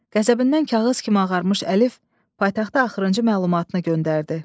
Qəzəbindən kağız kimi ağarmış Əlif paytaxta axırıncı məlumatını göndərdi.